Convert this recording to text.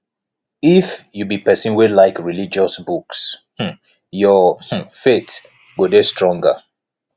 if you be pesin wey like religious books um your um faith go dey stronger